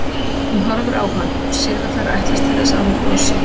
Hún horfir á hann og sér að það er ætlast til þess að hún brosi.